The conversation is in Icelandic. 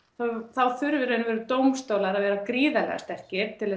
þá þurfa dómstólar að vera gríðarlega sterkir til